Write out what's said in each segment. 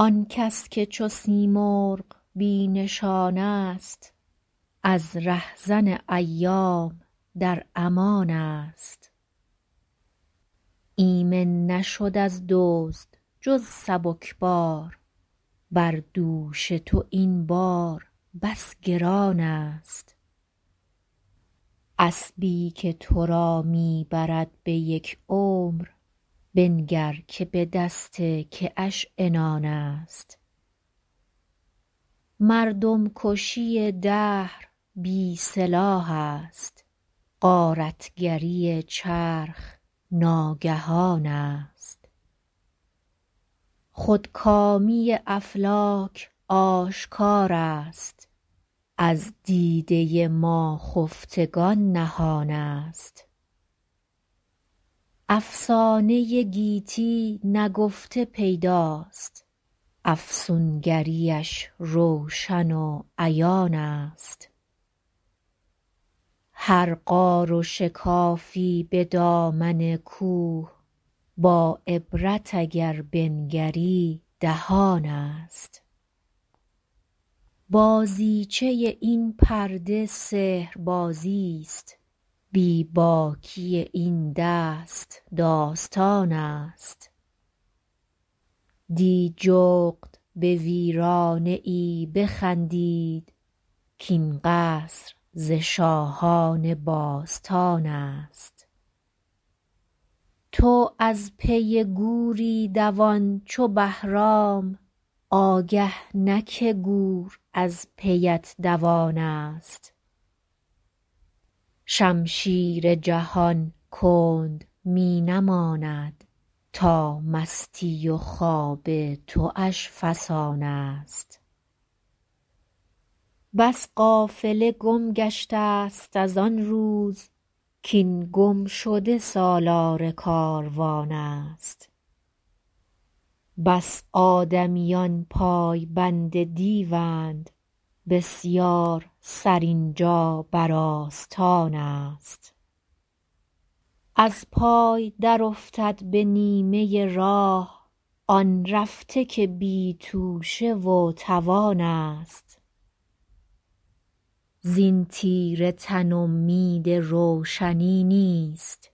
آنکس که چو سیمرغ بی نشان است از رهزن ایام در امان است ایمن نشد از دزد جز سبکبار بر دوش تو این بار بس گران است اسبی که تو را می برد به یک عمر بنگر که به دست که اش عنان است مردم کشی دهر بی سلاح است غارتگری چرخ ناگهان است خودکامی افلاک آشکار است از دیده ما خفتگان نهان است افسانه گیتی نگفته پیداست افسونگریش روشن و عیان است هر غار و شکافی به دامن کوه با عبرت اگر بنگری دهان است بازیچه این پرده سحربازی است بی باکی این دست داستان است دی جغد به ویرانه ای بخندید کاین قصر ز شاهان باستان است تو از پی گوری دوان چو بهرام آگه نه که گور از پیت دوان است شمشیر جهان کند می نماند تا مستی و خواب تواش فسان است بس قافله گم گشته است از آن روز کاین گمشده سالار کاروان است بس آدمیان پای بند دیوند بسیار سر اینجا بر آستان است از پای در افتد به نیمه راه آن رفته که بی توشه و توانست زین تیره تن امید روشنی نیست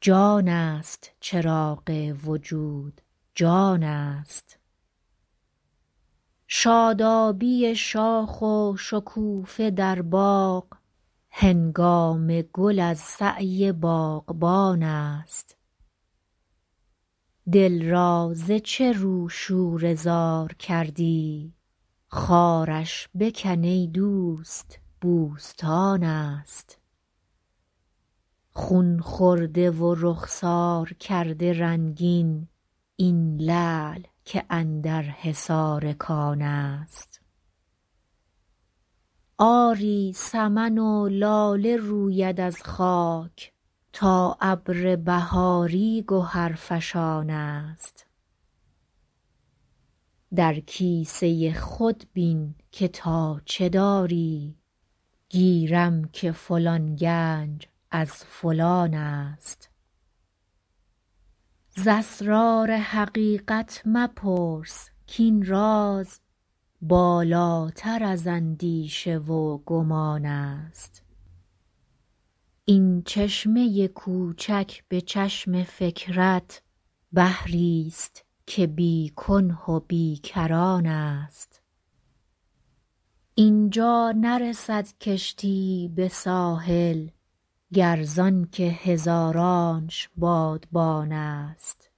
جان است چراغ وجود جان است شادابی شاخ و شکوفه در باغ هنگام گل از سعی باغبان است دل را ز چه رو شوره زار کردی خارش بکن ای دوست بوستان است خون خورده و رخسار کرده رنگین این لعل که اندر حصار کان است آری سمن و لاله روید از خاک تا ابر بهاری گهر فشان است در کیسه خود بین که تا چه داری گیرم که فلان گنج از فلان ست ز اسرار حقیقت مپرس کاین راز بالاتر از اندیشه و گمان است ای چشمه کوچک به چشم فکرت بحریست که بی کنه و بی کران است اینجا نرسد کشتی ای به ساحل گر زانکه هزارانش بادبان است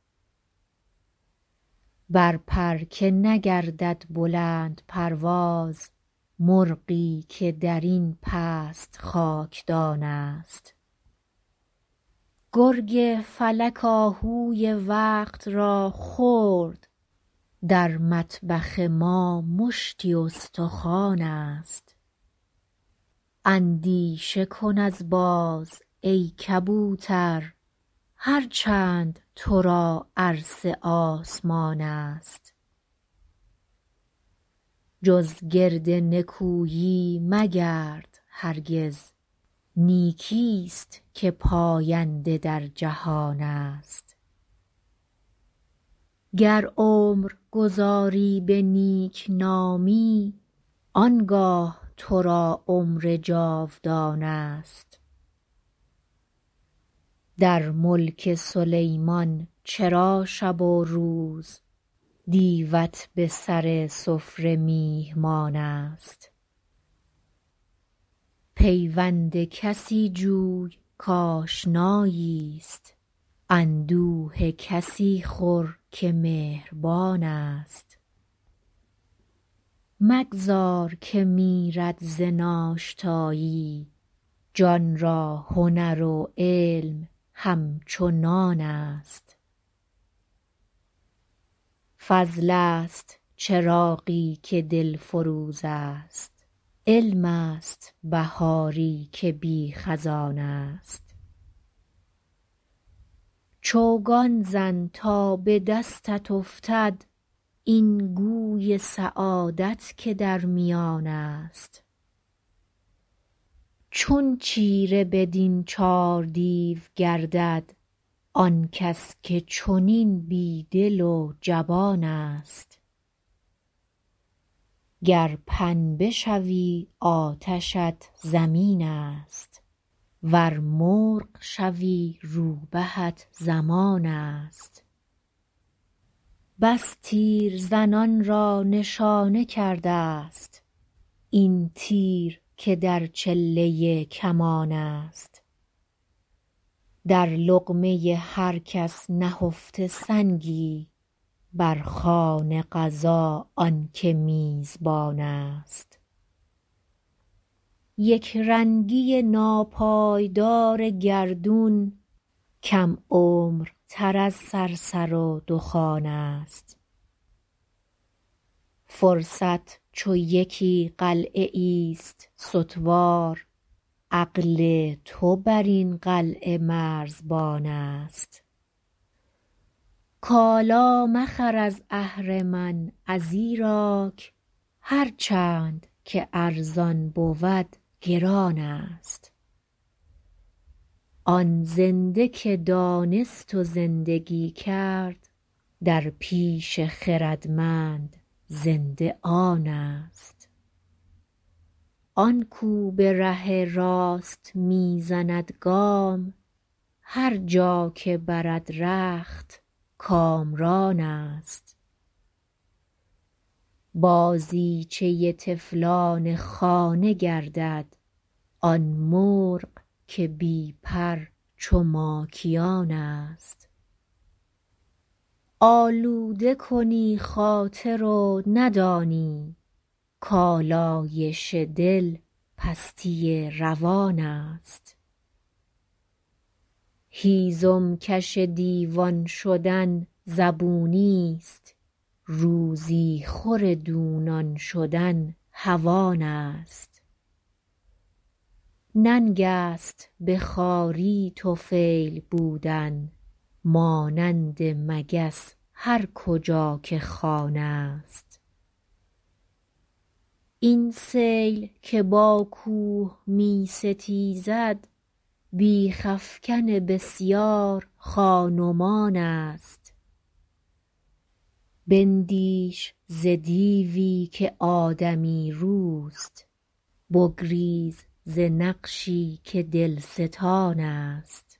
بر پر که نگردد بلند پرواز مرغی که درین پست خاکدان است گرگ فلک آهوی وقت را خورد در مطبخ ما مشتی استخوان است اندیشه کن از باز ای کبوتر هر چند تو را عرصه آسمان است جز گرد نکویی مگرد هرگز نیکی است که پاینده در جهان است گر عمر گذاری به نیکنامی آنگاه تو را عمر جاودان است در ملک سلیمان چرا شب و روز دیوت به سر سفره میهمان است پیوند کسی جوی که آشنایی است اندوه کسی خور که مهربان است مگذار که میرد ز ناشتایی جان را هنر و علم همچو نان است فضل است چراغی که دلفروز است علم است بهاری که بی خزان است چوگان زن تا به دستت افتد این گوی سعادت که در میان است چون چیره بدین چار دیو گردد آن کس که چنین بی دل و جبان است گر پنبه شوی آتشت زمین است ور مرغ شوی روبهت زمان است بس تیرزنان را نشانه کرده است این تیر که در چله کمان است در لقمه هر کس نهفته سنگی بر خوان قضا آنکه میزبان است یکرنگی ناپایدار گردون کم عمرتر از صرصر و دخان است فرصت چو یکی قلعه ای است ستوار عقل تو بر این قلعه مرزبان است کالا مخر از اهرمن ازیراک هر چند که ارزان بود گران است آن زنده که دانست و زندگی کرد در پیش خردمند زنده آن است آن کو به ره راست میزند گام هر جا که برد رخت کامران است بازیچه طفلان خانه گردد آن مرغ که بی پر چو ماکیان است آلوده کنی خاطر و ندانی کالایش دل پستی روان است هیزم کش دیوان شدن زبونی است روزی خور دونان شدن هوانست ننگ است به خواری طفیل بودن مانند مگس هر کجا که خوان است این سیل که با کوه می ستیزد بیغ افکن بسیار خانمان است بندیش ز دیوی که آدمی روست بگریز ز نقشی که دلستان است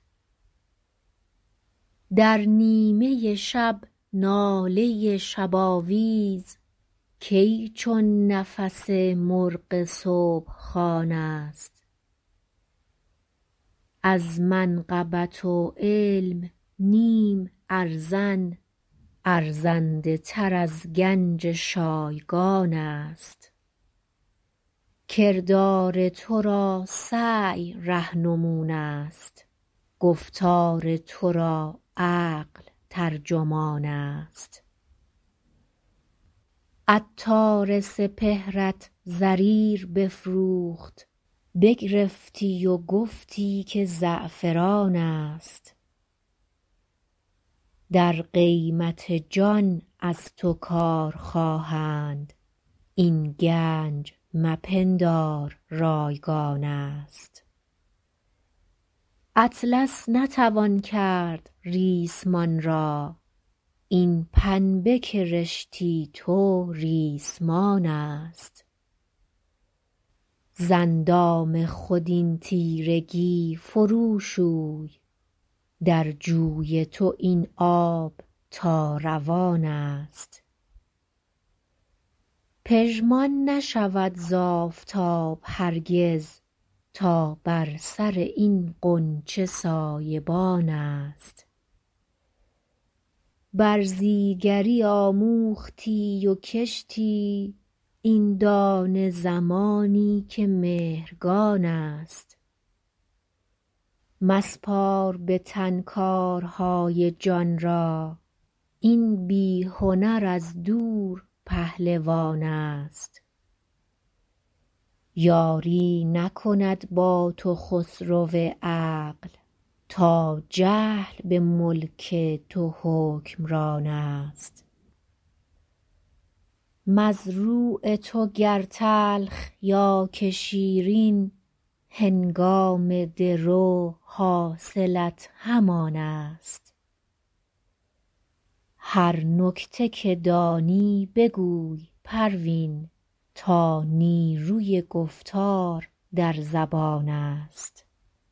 در نیمه شب ناله شباویز کی چون نفس مرغ صبح خوان است از منقبت و علم نیم ارزن ارزنده تر از گنج شایگان است کردار تو را سعی رهنمون است گفتار تو را عقل ترجمان است عطار سپهرت زریر بفروخت بگرفتی و گفتی که زعفران است در قیمت جان از تو کار خواهند این گنج مپندار رایگان است اطلس نتوان کرد ریسمان را این پنبه که رشتی تو ریسمان است ز اندام خود این تیرگی فرو شوی در جوی تو این آب تا روان است پژمان نشود ز آفتاب هرگز تا بر سر این غنچه سایبان است برزیگری آموختی و کشتی این دانه زمانی که مهرگان است مسپار به تن کارهای جان را این بی هنر از دور پهلوان ست یاری نکند با تو خسرو عقل تا جهل به ملک تو حکمران است مزروع تو گر تلخ یا که شیرین هنگام درو حاصلت همان است هر نکته که دانی بگوی پروین تا نیروی گفتار در زبان است